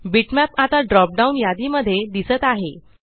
bitmap आता drop down यादी मध्ये दिसत आहे